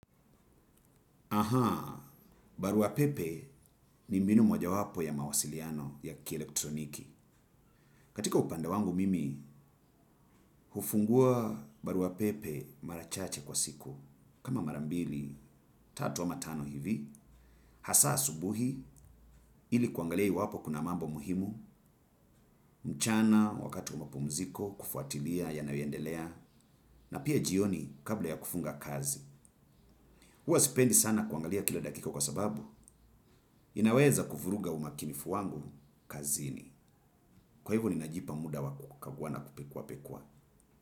Ahaa, barua pepe ni mbinu moja wapo ya mawasiliano ya kielektroniki. Katika upande wangu mimi, hufungua barua pepe mara chache kwa siku. Kama mara mbili, tatu ama tano hivi, hasa asubuhi, ili kuangalia iwapo kuna mambo muhimu, mchana wakati wa mapumziko, kufuatilia, yanayoendelea, na pia jioni kabla ya kufunga kazi. Huwa sipendi sana kuangalia kila dakika kwa sababu, inaweza kuvuruga umakinifu wangu kazini. Kwa hivyo ninajipa muda wa kukagua na kupekuwa pekuwa.